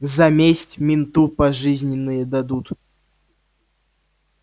за месть менту пожизненное дадут